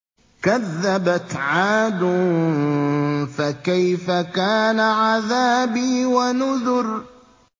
كَذَّبَتْ عَادٌ فَكَيْفَ كَانَ عَذَابِي وَنُذُرِ